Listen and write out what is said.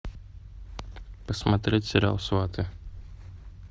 посмотреть сериал сваты